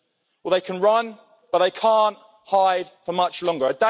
Well they can run, but they can't hide for much longer.